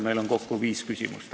Meil on kokku viis küsimust.